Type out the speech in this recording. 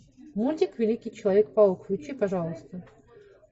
мультик великий человек паук включи пожалуйста